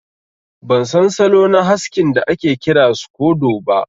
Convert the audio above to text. Ban san salo na haskin da ake kira scodo ba.